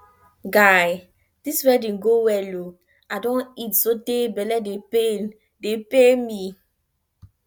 guy dis wedding go well ooo i don eat so tey bele dey pain dey pain me